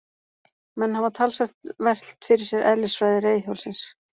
Menn hafa talsvert velt fyrir sér eðlisfræði reiðhjólsins.